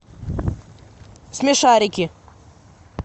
смешарики